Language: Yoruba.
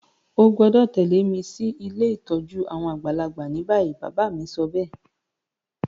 O gbọ́dọ̀ tẹ̀lẹ́ mi si ilé ìtójú àwon àgbàlagbà ni bayi. Bàbá mi sobéè